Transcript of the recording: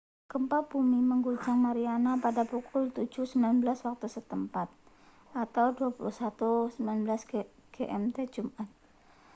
gempa bumi mengguncang mariana pada pukul 07.19 waktu setempat 21.19 gmt jumat